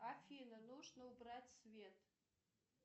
афина нужно убрать свет